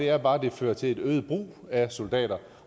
er bare at det fører til en øget brug af soldater